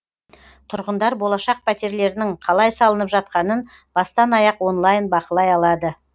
тұрғындар болашақ пәтерлерінің қалай салынып жатқанын бастан аяқ онлайн бақылай алады